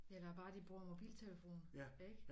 Eller bare de bruger mobiltelefon ikke